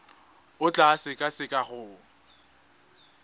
o tla e sekaseka go